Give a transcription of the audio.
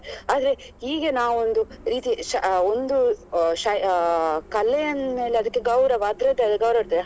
ಆದ್ರೆ ಹೀಗೆ ನಾವು ಒಂದು ರೀತಿ ಒಂದು ಶ ಅಹ್ ಕಲೆ ಅಂದ್ಮೇಲೆ ಅದ್ಕೆ ಗೌರವ ಅದ್ರದ್ದೇ ಆದ ಗೌರವ ಇರ್ತದೆ